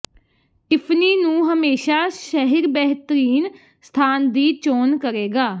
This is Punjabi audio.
ਟਿਫ਼ਨੀ ਨੂੰ ਹਮੇਸ਼ਾ ਸ਼ਹਿਰ ਬੇਹਤਰੀਨ ਸਥਾਨ ਦੀ ਚੋਣ ਕਰੇਗਾ